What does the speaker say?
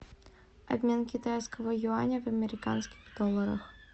обмен китайского юаня в американских долларах